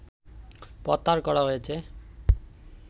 প্রত্যাহার করা হয়েছে